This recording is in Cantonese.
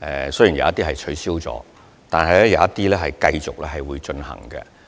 關注，雖然有部分活動已取消，但仍有部分會繼續進行。